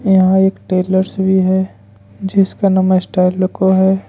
यहां एक टेलर्स भी है जिसका नाम स्टाइल है।